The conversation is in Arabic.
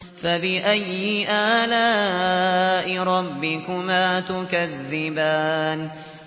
فَبِأَيِّ آلَاءِ رَبِّكُمَا تُكَذِّبَانِ